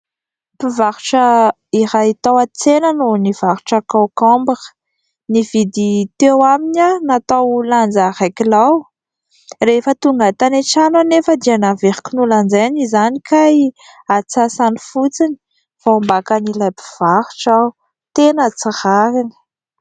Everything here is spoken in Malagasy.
Mpivarotra iray tao an-tsena no nivarotra kôkômbra. Nividy teo aminy aho natao lanja iray kilao. Rehefa tonga tany an-trano anefa dia naveriko nolanjaina izany kay antsasany fotsiny. Voambakan'ilay mpivarotra aho, tena tsy rariny !